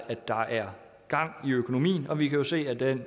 at der er gang i økonomien og vi kan jo se at den